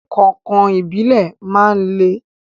Kọ̀inkọ̀in Ìbílẹ̀ máa ń le.